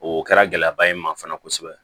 O kɛra gɛlɛyaba ye n ma fana kosɛbɛ